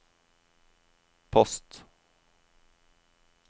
post